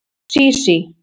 Sísí